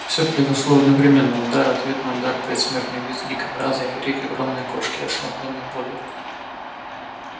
всё произошло одновременноудар ответный удар предсмертный визг дикобраза и крик огромной кошки ошеломлённой болью